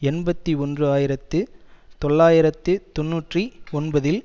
எண்பத்தி ஒன்று ஆயிரத்து தொள்ளாயிரத்து தொன்னூற்றி ஒன்பதில்